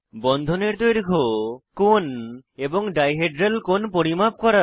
বন্ধনের দৈর্ঘ্য কোণ এবং ডাই হেড্রাল কোণ পরিমাপ করা